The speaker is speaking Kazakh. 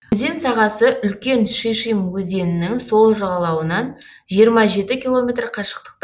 өзен сағасы үлкен шишим өзенінің сол жағалауынан жиырма жеті километр қашықтықта